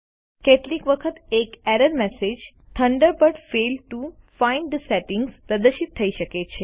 કેટલીક વખત એક error message Thunderbird failed to find the settings પ્રદર્શિત થઇ શકે છે